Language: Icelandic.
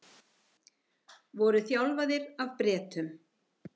Voru þjálfaðir af Bretum